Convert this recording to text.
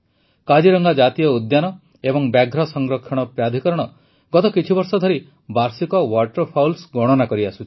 କାଜିରଙ୍ଗା ଜାତୀୟ ଉଦ୍ୟାନ ଏବଂ ବ୍ୟାଘ୍ର ସଂରକ୍ଷଣ ପ୍ରାଧିକରଣ ଗତ କିଛି ବର୍ଷ ଧରି ବାର୍ଷିକ ୱାଟରଫାଉଲ୍ସ ଗଣନା କରିଆସୁଛି